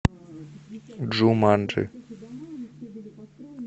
джуманджи